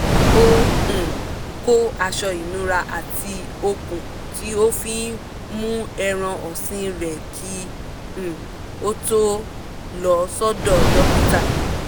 ó um kó aṣọ ìnura àti okùn tí ó fi ń mú ẹran ọ̀sìn rẹ̀ kí um ó tó lọ sọ́dọ̀ dókítà